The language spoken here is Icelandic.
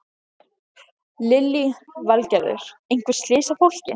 Lillý Valgerður: Einhver slys á fólki?